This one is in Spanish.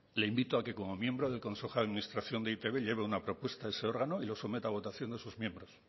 le invito a que como miembro del consejo de administración de e i te be lleve una propuesta a ese órgano y lo someta a votación de sus miembros